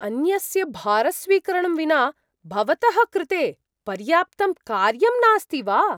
अन्यस्य भारस्वीकरणं विना भवतः कृते पर्याप्तं कार्यं नास्ति वा?